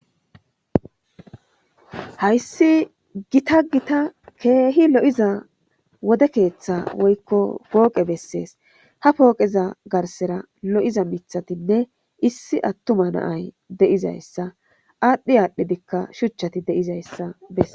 Hayisi gitta gitta loiza wode ketha woyiko poqe beses ha poqe garisan lo'iza mithatinee issi atuma na'ay de'izaysa adhi adhi shuchati de'izayisa beses